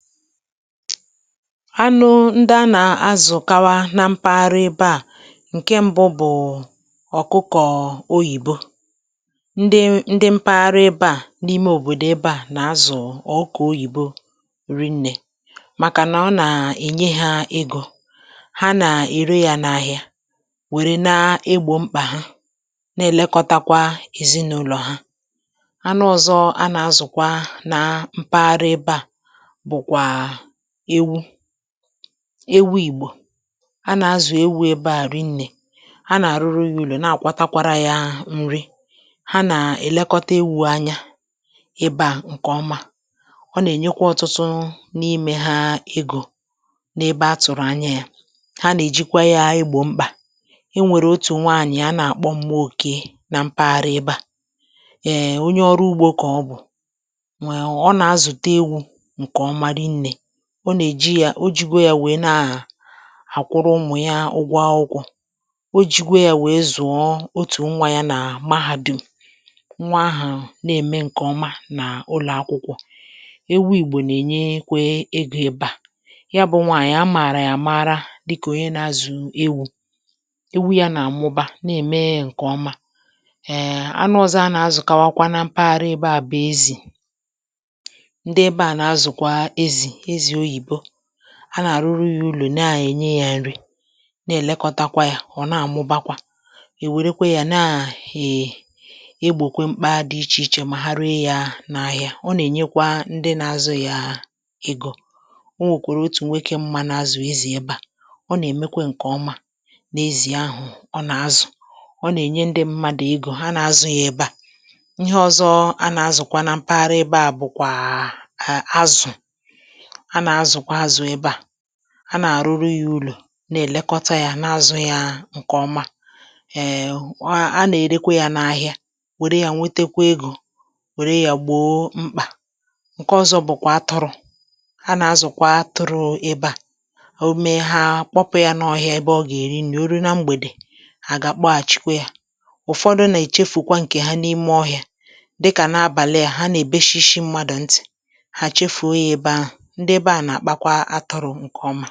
Anụ ndị a nà-azù kawa na mpaghara ebe a; ǹke mbụ bụ̀ ọ̀kụkọ̀ oyìbo ndị ndị mpaghara ebe a n’ime òbòdò ebe a nà-azù ọ̀kụ̀kọ oyìbo rìnnè. Màkà nà ọ nà-ènye hȧ egȯ, ha nà-ère yȧ n’ahìa wère na-egbò mkpà ha, na-èlekọtakwa èzinụlọ̀ ha. Anụ ọ̀zọ a nà-azùkwa nà mpaghara ebe a bụ kwa ewu, ewu ìgbò a nà-azù ewu ebe à rinnė, ha nà-àrụrụ ya ụlọ, na-àkwatakwara yȧ nri. Ha nà-èlekọta ewu̇ anya ebe à ǹkèọma, ọ nà-ènyekwa ọtụtụ n’imė ha egȯ n’ebe a tụ̀rụ̀ anya yȧ, ha nà-èjikwa yȧ égbo mkpà. É nwèrè otù nwaànyị̀ a nà-àkpọ mma òkèy na mpaghara ebe à, um onye ọrụ ugbȯ kà ọ bù[um] ọ nà- àzụta èwù nke ọma ri nné. Ọ na-eji yȧ o jigo yȧ wèe na-àkwụrụ ụmụ̀ ya ụgwọ akwụkwọ, o jigò yȧ wèe zụ̀ọ otù nwȧ yȧ nà mahàdùm. Nwa ahụ̀ na-ème ǹkè ọma na ụlọ̀akwụkwọ̇. Ewu ìgbò nà-ènye kwa egȯ ebe à, ya bụ̇ nwaànyị̀ amàrà yà màrà dịkà onye nà-azù ewu̇, ewu yȧ nà-àmụba na-ème ǹkè ọma. um Anụ ọzọ a nà-azùkawakwa na mpaghara ebe à bụ̀ ezì; ndị ebe a na-azụ kwa ezì ezì oyíbó. Ha na arụrụ ya ụlọ̀, na-ènye ya nri na-èlekọta kwa ya, ọ na-àmụbakwa èwèrekwa ya na um egbòkwe mkpa dị ichè ichè, ma ha réé ya n’ahịà. Ọ nà-ènyekwa ndị na-azụ ya egȯ, o nweè kwèrè otù nwoke m mȧ n’azụ̀ ezì. Ebe a ọ nà-èmekwa ǹkèọma n’ezì ahụ̀ ọ nà-azụ̀, ọ nà-ènye ndị mmadụ̀ egȯ ha na-azụ ya ebe a. Ihe ọzọ a nà-azụ̀kwa na mpaghara ebe a bụ̀kwà azụ̀, a na-azukwa azụ ebe a a nà-àrụrụ ya ụlọ̀ na-èlekọta yȧ n’azụ̇ ya ǹkè ọma. Ha ha nà-èrekwa yȧ n’ahịa wère ya nwetekwa egȯ wère ya gbòo mkpà ǹke ọzọ bụ̀kwà atụrụ̇ a nà-azụ̀kwa atụrụ̇ ebe a à òme ha kpọpụ ya n’ọhịa ebe ọ gà-èri eri oru na mgbèdè hà gà-àkpọghà chikwe yȧ. ụ̀fọdụ nà èchefùkwa ǹkè ha n’ime ọhịa dịkà nà abàli a ha nà-èbe shishi mmadụ̀ nti. Ha chefuo ya ebe ahụ, ndị ébé a na-akpakwa atụrụ nke ọma.